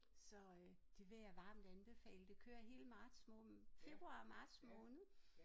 Så øh det vil jeg varmt anbefale det kører hele marts måned februar marts måned